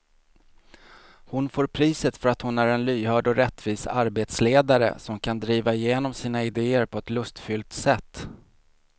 Hon får priset för att hon är en lyhörd och rättvis arbetsledare som kan driva igenom sina idéer på ett lustfyllt sätt.